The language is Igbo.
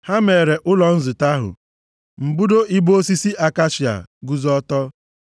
Ha meere ụlọ nzute ahụ mbudo ibo osisi akashia, guzo ọtọ.